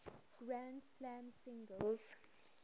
grand slam singles